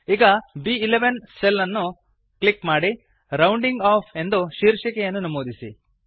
ಈಗ ಬ್11 ಸೆಲ್ ಅನ್ನು ಕ್ಲಿಕ್ ಮಾಡಿ ರೌಂಡಿಂಗ್ ಒಎಫ್ಎಫ್ ಎಂದು ಶೀರ್ಷಿಕೆಯನ್ನು ನಮೂದಿಸಿ